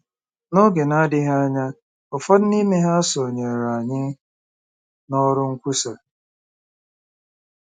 N’oge na-adịghị anya, ụfọdụ n’ime ha sonyeere anyị n’ọrụ nkwusa.